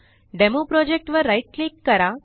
demo project वर right click करा